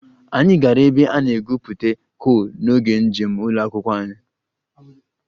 Anyị gara ebe a na-egwupụta coal n'oge njem ụlọ akwụkwọ anyị